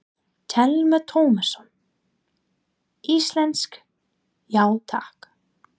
Telma Tómasson: Íslenskt, já takk?